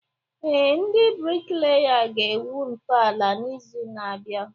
Ee, ndị bricklayers ga-egwu ntọala n'izu na-abịa